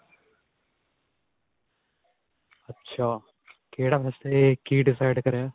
ਅੱਛਾ, ਕਿਹੜਾ ਵੈਸੇ ਕੀ decide ਕਰਿਆ?